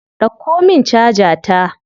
Dauko min caja ta.